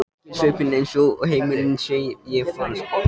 Ekki á svipinn eins og heimurinn sé að farast.